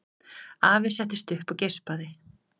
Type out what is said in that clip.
Afi settist upp og geispaði.